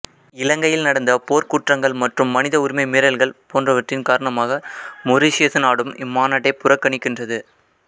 இலங்கையில் நடந்த போர்க்குற்றங்கள் மற்றும் மனித உரிமை மீறல்கள் போன்றவற்றின் காரணமாக மொரீசியசு நாடும் இம்மாநாட்டை புறக்கணிக்கின்றது